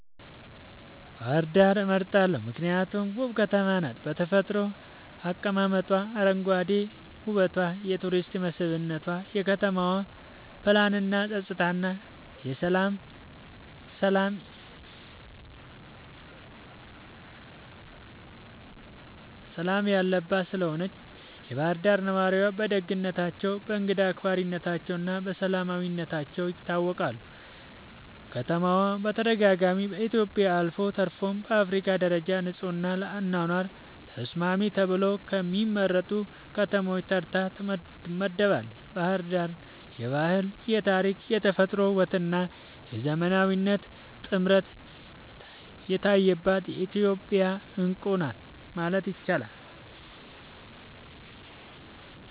ባህር ዳርን እመርጣለሁ ምክንያቱም ውብ ከተማ ናት በተፈጥሮ አቀማመጧ, አረንጓዴ ዉበቷ የቱሪስት መስብነቷ, የከተማዋ ፕላንናፀጥታና ሠላም የለባት ስለሆነችም የባህር ዳር ነዋሪዎች በደግነታቸው፣ በእንግዳ አክባሪነታቸውና በሰላማዊነታቸው ይታወቃሉ። ከተማዋ በተደጋጋሚ በኢትዮጵያ አልፎ ተርፎም በአፍሪካ ደረጃ ንጹሕና ለአኗኗር ተስማሚ ተብለው ከሚመረጡ ከተሞች ተርታ ትመደባለች። ባሕር ዳር የባህል፣ የታሪክ፣ የተፈጥሮ ውበትና የዘመናዊነት ጥምረት የታየባት የኢትዮጵያ ዕንቁ ናት ማለት ይቻላል።